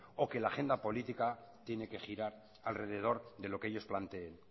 o que la agenda política tiene que girar alrededor de lo que ellos planteen